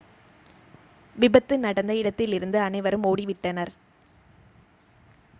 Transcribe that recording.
விபத்து நடந்த இடத்திலிருந்து அனைவரும் ஓடிவிட்டனர்